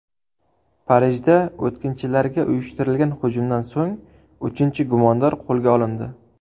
Parijda o‘tkinchilarga uyushtirilgan hujumdan so‘ng uchinchi gumondor qo‘lga olindi.